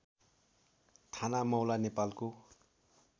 ठानामौला नेपालको